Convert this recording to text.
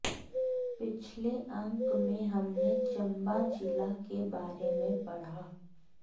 पिछले अंक में हमने चंबा जिला के बारे में पढ़ा